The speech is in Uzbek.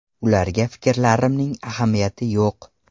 Ularga fikrlarimning ahamiyati yo‘q.